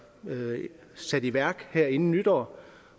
sat i værk her inden nytår